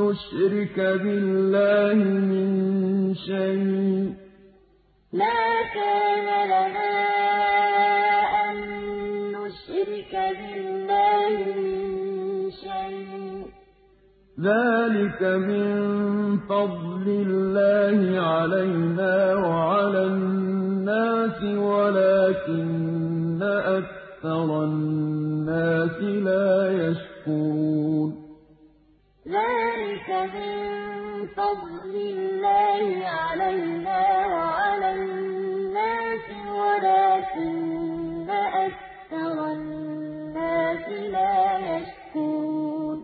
نُّشْرِكَ بِاللَّهِ مِن شَيْءٍ ۚ ذَٰلِكَ مِن فَضْلِ اللَّهِ عَلَيْنَا وَعَلَى النَّاسِ وَلَٰكِنَّ أَكْثَرَ النَّاسِ لَا يَشْكُرُونَ وَاتَّبَعْتُ مِلَّةَ آبَائِي إِبْرَاهِيمَ وَإِسْحَاقَ وَيَعْقُوبَ ۚ مَا كَانَ لَنَا أَن نُّشْرِكَ بِاللَّهِ مِن شَيْءٍ ۚ ذَٰلِكَ مِن فَضْلِ اللَّهِ عَلَيْنَا وَعَلَى النَّاسِ وَلَٰكِنَّ أَكْثَرَ النَّاسِ لَا يَشْكُرُونَ